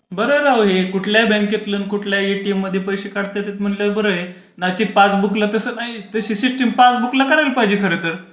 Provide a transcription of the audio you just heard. बरआहे राव हे कुठल्याही बँकेतला कुठल्या एटीएम मध्ये पैसे काढता येतात म्हणल्यावर बरंय सिस्टीम पासबूकला करायला पाहिजे खरं तर.